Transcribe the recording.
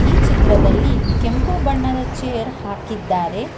ಈ ಚಿತ್ರದಲ್ಲಿ ಕೆಂಪು ಬಣ್ಣದ ಚೇರ್ ಹಾಕಿದ್ದಾರೆ.